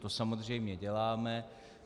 To samozřejmě děláme.